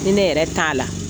Ni ne yɛrɛ t'a la